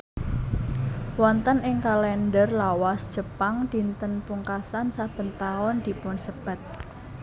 Wonten ing kalender lawas Jepang dinten pungkasan saben taun dipunsebat